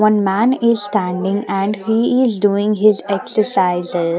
One man is standing and he is doing his exercises--